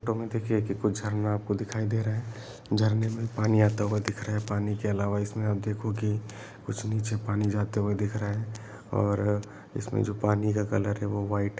तुम्हें देखें कि कुछ झरना आपको दिखाई दे रहा है झरने में पानी आता होगा दिख रहा है पानी के अलावा इसमें आप देखोगी कुछ नीचे पानी जाते हुए दिख रहा है और इसमें जो पानी का कलर है वह व्हाइट--